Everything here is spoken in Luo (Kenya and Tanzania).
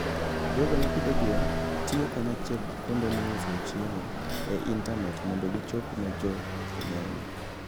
jogo ma pidho gwen tiyo kanyachiel gi kuonde miusoe chiemo e intanet mondo gichop ne jo ng'eny.